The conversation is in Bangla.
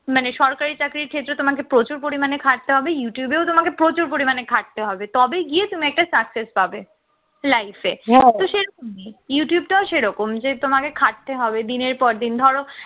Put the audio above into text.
মানে সরকারি চাকরির ক্ষেত্রে তোমাকে প্রচুর পরিমাণে খাটতে হবে youtube এ ও তোমাকে প্রচুর পরিমাণে খাটতে হবে তবেই গিয়ে তুমি একটা sucess পাবে life এ তো সে youtube টাও সেরকম যে তোমাকে খাটতে হবে দিনের পর দিন ধরো